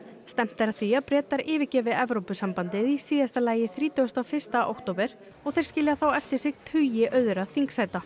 stefnt er að því að Bretar yfirgefi Evrópusambandið í síðasta lagi í þrítugasta og fyrsta október og þeir skilja þá eftir sig tugi auðra þingsæta